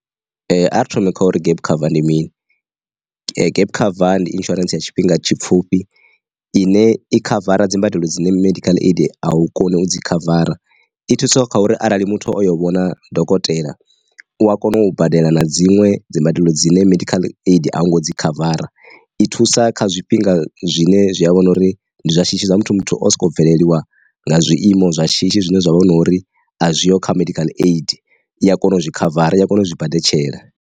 Ari thome kha uri gap cover ndi mini, gap cover ndi insurance ya tshifhinga tshipfhufhi ine i khavara dzimbadelo dzine medical aid a u koni u dzi khavara. I thusa kha uri arali muthu oyo vhona dokotela u ya kona u badela na dziṅwe dzi mbadelo dzine medical aid ango dzi khavara, i thusa kha zwifhinga zwine zwi a vhona uri ndi zwa shishi zwa muthu muthu osoko bveleliwa nga zwiiimo zwa shishi zwine zwa vha vhono uri a zwiho kha medical aid i a kona u zwi khavara ya kona u zwi badela.